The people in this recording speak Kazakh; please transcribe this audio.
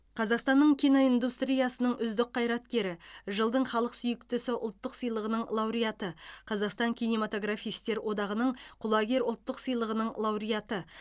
қазақстанның киноиндустриясының үздік қайраткері жылдың халық сүйіктісі ұлттық сыйлығының лауреаты қазақстан кинематографистер одағының құлагер ұлттық сыйлығының лауреаты